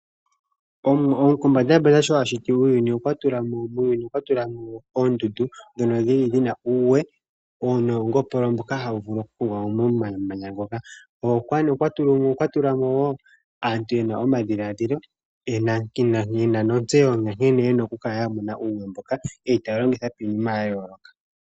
Omwa gopombandambanda sho ashiti uuyuni okwa tulamo oondundu dhono dhili dhina uuwe nongopolo mboka hawu vulu okugwa momamanya ngoka. Okwa tulamo aantu mboka yena omadhiladhilo notseyo ya nkene yena oku kala ya mona uuwe mboka mokulongitha iinima ya yoloka.